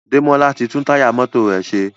Demola tí tún Táyà mọ́tò rẹ ṣe.